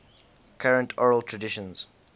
current oral traditions